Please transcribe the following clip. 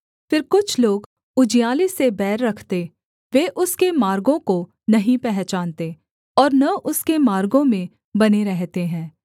फिर कुछ लोग उजियाले से बैर रखते वे उसके मार्गों को नहीं पहचानते और न उसके मार्गों में बने रहते हैं